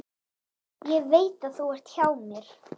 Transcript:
Ég veit að þú ert hjá mér.